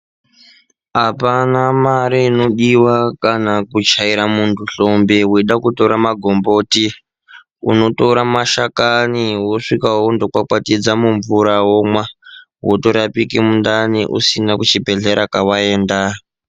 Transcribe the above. Apana mare inodiwa kana kuchaira muntu hlombe weida kutora magomboti unotora mashakani wosvika wondokwakwatidza mumvura womwa wotorapika mundani usina kuchibhedhlera kawaenda.